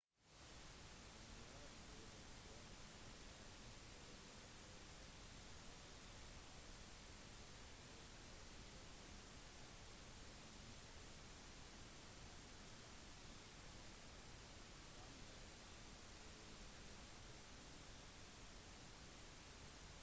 når du returnerer hjem etter å ha vært boende i et annet land så har du formet deg til den nye kulturen og mistet noen av de gamle vanene fra hjemmekulturen din